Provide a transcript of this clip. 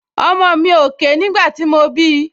Ọmọ mi ò ké nígbà tí mo bí i